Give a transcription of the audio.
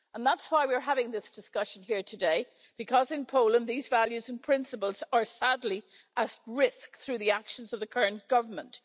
That's why we're having this discussion here today, because in Poland these values and principles are sadly at risk through the actions of the current government.